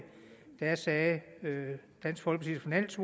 sagde dansk folkepartis